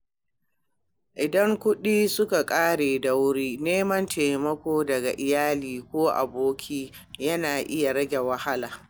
Idan kuɗi suka ƙare da wuri, neman taimako daga iyali ko abokai yana iya rage damuwa.